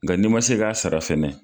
Nga n'i ma se k'a sara fɛnɛ